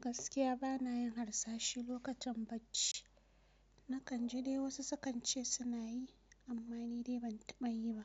Gaskiya ba na yin harsashi lokacin bacci. Na kan ji dai wasu su kan ce su na yi amma ni dai ban taɓa yi ba